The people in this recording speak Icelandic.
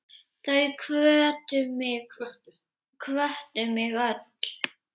Þau hvöttu mig öll.